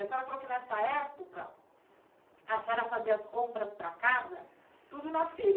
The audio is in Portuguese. A senhora falou que, nessa época, a senhora fazia as compras para casa tudo na feira.